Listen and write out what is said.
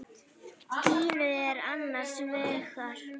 Gínu er annars vegar.